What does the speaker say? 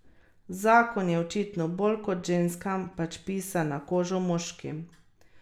Zakon je očitno bolj kot ženskam pač pisan na kožo moškim.